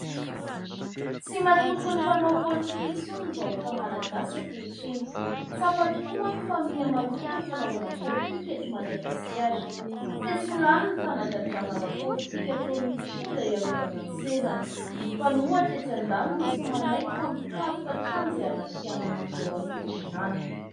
Tsy mahatoky ny mpanao politika intsony ny vahoaka malagasy ankehitriny. Tsapa tokoa manko fa mihamaloto ny fanaovana politika eto Madagasikara. Sesilany ny fanagadrana ara-politika ataon'ny mpitondra hiarovana ny sezany ; ny mpanohitra etsy andaniny tsy manaiky fa mikaroka hatrany izay hanakianana ny eo amin'ny fitondrana.